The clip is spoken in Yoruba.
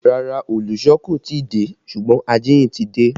Rárá, olùsọ kò tí ì dé ṣùgbọ́n ajíhìn ti dé